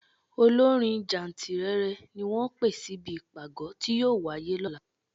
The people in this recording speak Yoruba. Olórin jáǹtìrẹrẹ ni wọ́n pè síbi ìpàgọ́ tí yóò wáyé lọ́la.